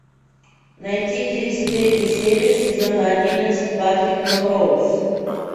найти тридцать третью серию сезона одиннадцать патрик мелроуз